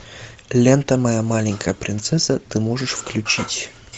лента моя маленькая принцесса ты можешь включить